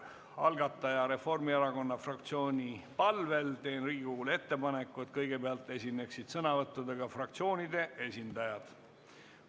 Algataja, Reformierakonna fraktsiooni palvel teen Riigikogule ettepaneku, et kõigepealt esineksid sõnavõttudega fraktsioonide esindajad.